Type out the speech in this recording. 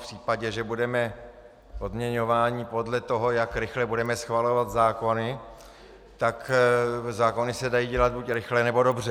V případě, že budeme odměňováni podle toho, jak rychle budeme schvalovat zákony, tak zákony se dají dělat buď rychle, nebo dobře.